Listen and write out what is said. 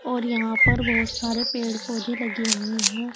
और यहां पर बहोत सारे पेड़ पौधे लगे हुए हैं।